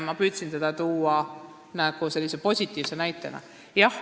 Ma püüdsin seda tuua positiivse näitena.